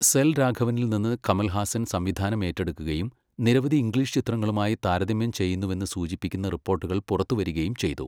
സെൽവരാഘവനിൽ നിന്ന് കമൽഹാസൻ സംവിധാനം ഏറ്റെടുക്കുകയും നിരവധി ഇംഗ്ലീഷ് ചിത്രങ്ങളുമായി താരതമ്യം ചെയ്യുന്നുവെന്ന് സൂചിപ്പിക്കുന്ന റിപ്പോർട്ടുകൾ പുറത്തുവരികയും ചെയ്തു.